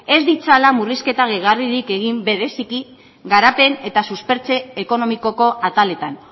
ez ditzala murrizketa gehigarririk egin bereziki garapen eta suspertze ekonomikoko ataletan